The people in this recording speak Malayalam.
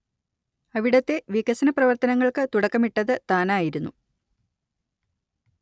അവിടത്തെ വികസനപ്രവർത്തനങ്ങൾക്ക് തുടക്കമിട്ടത് താനായിരുന്നു